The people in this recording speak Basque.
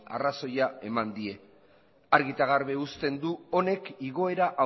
arrazoia eman die argi eta garbi uzten du honek igoera